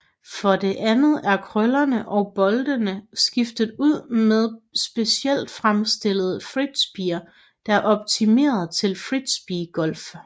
For det andet er køllerne og boldene skiftet ud med specielt fremstillede frisbeer der er optimeret til frisbee golf